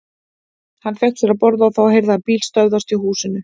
Hann fékk sér að borða og þá heyrði hann bíl stöðvast hjá húsinu.